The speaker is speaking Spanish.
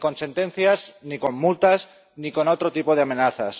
Ni con sentencias, ni con multas ni con otro tipo de amenazas.